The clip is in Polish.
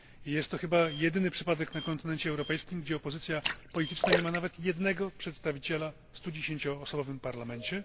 Jest to chyba jedyny przypadek na kontynencie europejskim, gdzie opozycja polityczna nie ma nawet jednego przedstawiciela w 110 osobowym parlamencie.